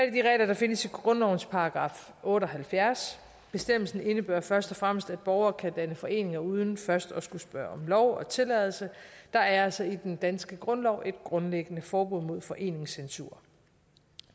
i de regler der findes i grundlovens § otte og halvfjerds bestemmelsen indebærer først og fremmest at borgere kan danne foreninger uden først at skulle spørge om lov og tilladelse der er altså i den danske grundlov et grundliggende forbud mod foreningscensur